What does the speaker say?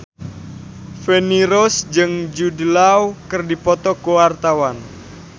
Feni Rose jeung Jude Law keur dipoto ku wartawan